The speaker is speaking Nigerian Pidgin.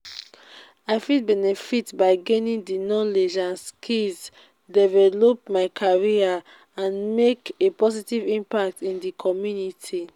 i fit benefit by gaining di knowledge and skills develop my career and make a positive impact in di community.